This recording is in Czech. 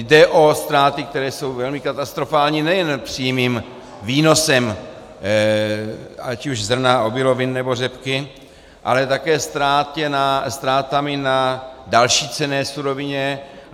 Jde o ztráty, které jsou velmi katastrofální nejen přímým výnosem ať už zrna, obilovin, nebo řepky, ale také ztrátami na další cenné surovině.